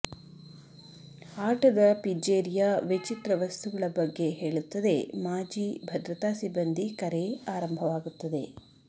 ಆಟದ ಪಿಜ್ಜೇರಿಯಾ ವಿಚಿತ್ರ ವಸ್ತುಗಳ ಬಗ್ಗೆ ಹೇಳುತ್ತದೆ ಮಾಜಿ ಭದ್ರತಾ ಸಿಬ್ಬಂದಿ ಕರೆ ಆರಂಭವಾಗುತ್ತದೆ